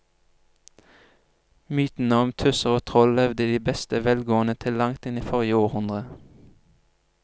Mytene om tusser og troll levde i beste velgående til langt inn i forrige århundre.